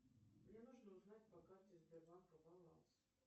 мне нужно узнать по карте сбербанка баланс